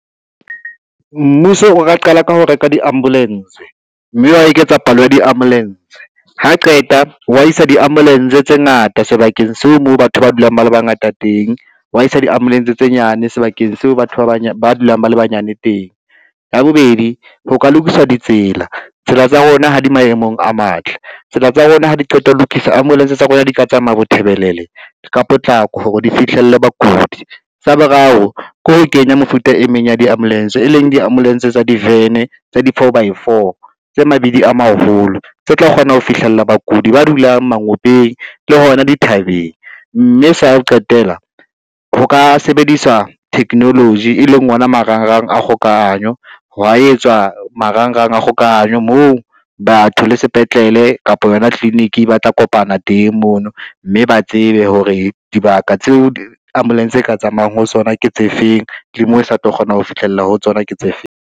Mmuso o ka qala ka ho reka di-ambulance, mme wa eketsa palo ya di-ambulance. Ha qeta wa isa di-ambulance tse ngata sebakeng seo moo batho ba dulang ba le bangata teng, wa isa di-ambulance tse nyane sebakeng seo batho ba bang ba dulang ba le banyane teng. Ya bobedi ho ka lokiswa ditsela, tsela tsa rona ha di maemong a matle, tsela tsa rona ha di qeta ho lokisa ambulance tsa rona di ka tsamaya bothebelele ka potlako hore di fihlelle bakudi. Sa boraro ke ho kenya mefuta e meng ya di ambulance, e leng di-ambulance tsa divene tsa di-four by four tse mabidi a maholo tse tla kgona ho fihlella bakudi ba dulang mangopeng le hona dithabeng, mme sa ho qetela, ho ka sebediswa technology e leng ona marangrang a kgokahanyo hwa etswa marangrang a kgokahanyo moo batho le sepetlele kapa yona clinic ba tla kopana teng mono, mme ba tsebe hore dibaka tseo ambulance e ka tsamayang ho tsona ke tse feng, le moo e sa tlo kgona ho fihlella ho tsona ke tse feng.